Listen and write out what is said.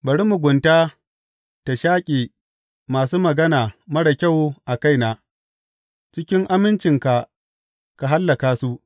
Bari mugunta ta shaƙe masu magana marar kyau a kaina; cikin amincinka ka hallaka su.